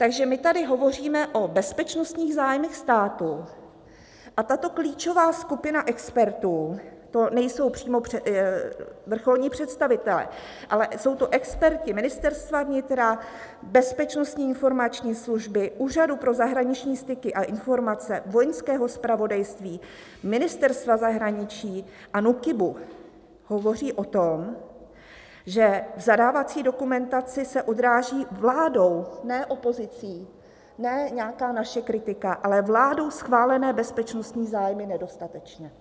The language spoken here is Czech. Takže my tady hovoříme o bezpečnostních zájmech státu, a tato klíčová skupina expertů, to nejsou přímo vrcholní představitelé, ale jsou to experti Ministerstva vnitra, Bezpečnostní informační služby, Úřadu pro zahraniční styky a informace, Vojenského zpravodajství, Ministerstva zahraničí a NÚKIBu, hovoří o tom, že v zadávací dokumentaci se odráží vládou - ne opozicí, ne nějaká naše kritika - ale vládou schválené bezpečnostní zájmy nedostatečně.